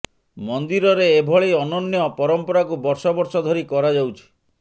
ମନ୍ଦିରରେ ଏଭଳି ଅନନ୍ୟ ପରମ୍ପରାକୁ ବର୍ଷ ବର୍ଷ ଧରି କରାଯାଉଛି